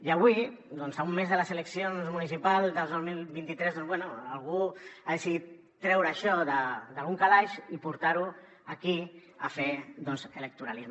i avui a un mes de les eleccions municipals del dos mil vint tres bé algú ha decidit treure això d’algun calaix i portar ho aquí a fer doncs electoralisme